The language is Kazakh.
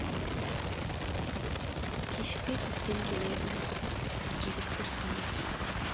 кешікпей көктем келеді жігіт күрсінді